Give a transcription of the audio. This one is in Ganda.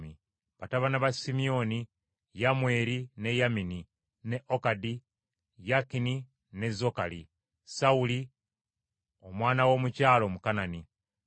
Batabani ba Simyoni: Yamweri ne Yamini, ne Okadi, Yakini ne Zokali, Sawuli (omwana w’omukyala Omukanani). Abo be b’omu mu bika bya Simyoni.